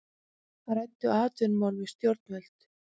Ræddu atvinnumál við stjórnvöld